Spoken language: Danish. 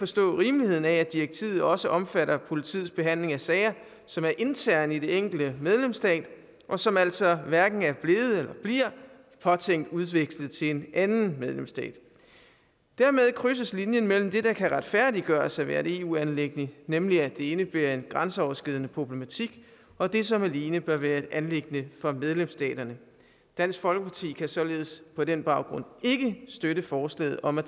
se rimeligheden i at direktivet også omfatter politiets behandling af sager som er interne i den enkelte medlemsstat og som altså hverken er blevet eller bliver påtænkt udvekslet til en anden medlemsstat dermed krydses linjen mellem det der kan retfærdiggøres at være et eu anliggende nemlig at det indebærer en grænseoverskridende problematik og det som alene bør være et anliggende for medlemsstaterne dansk folkeparti kan således på den baggrund ikke støtte forslaget om at